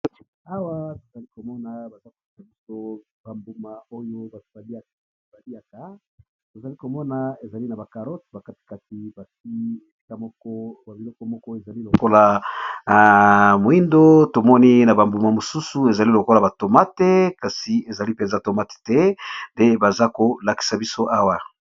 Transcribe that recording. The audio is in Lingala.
Awa tozali komona bazolakisa biso ba mbuma oyo batu balyaka tozali komona ba carotte bakati kati yango tomoni ba mbuma mosusu ezali lokola tomate nde biloko bazolakisa biso awa.